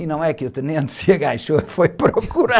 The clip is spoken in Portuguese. E não é que o tenente se agachou, e foi procurar.